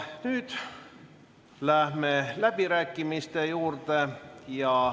Nüüd läheme läbirääkimiste juurde.